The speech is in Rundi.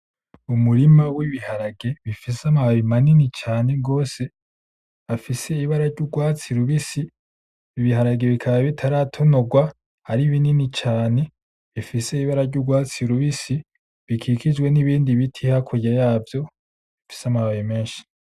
Umurima w'ibiharage bifise amababi manini cane gose, afise ibara ry'urwatsi rubisi ibiharage bikaba bitaratonorwa hari binini cane bifise ibara ry'urwatsi rubisi bikijijwe n'ibindi biti hakurya yavyo bifise amababi menshi.